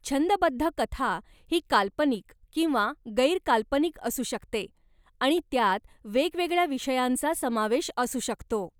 छंदबद्ध कथा ही काल्पनिक किंवा गैर काल्पनिक असू शकते आणि त्यात वेगवेगळ्या विषयांचा समावेश असू शकतो.